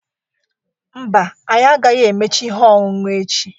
Mba, anyị agaghị emecha ihe ọṅụṅụ echi